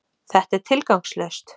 Þetta er tilgangslaust!